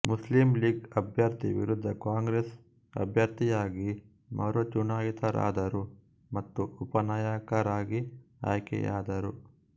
Muslim League ಅಭ್ಯರ್ಥಿ ವಿರುದ್ಧ Congress ಅಭ್ಯರ್ಥಿಯಾಗಿ ಮರು ಚುನಾಯಿತರಾದರು ಮತ್ತು ಉಪ ನಾಯಕರಾಗಿ ಆಯ್ಕೆಯಾದರು